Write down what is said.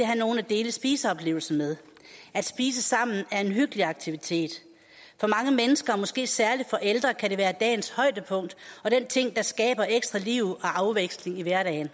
have nogle at dele spiseoplevelsen med at spise sammen er en hyggelig aktivitet for mange mennesker og måske særlig for ældre kan det være dagens højdepunkt og den ting der skaber ekstra liv og afveksling i hverdagen